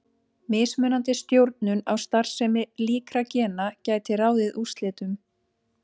Mismunandi stjórnun á starfsemi líkra gena gæti ráðið úrslitum.